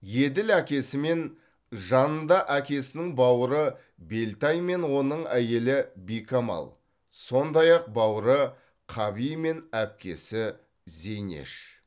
еділ әкесімен жанында әкесінің бауыры белтай мен оның әйелі бикамал сондай ақ бауыры қаби мен әпкесі зейнеш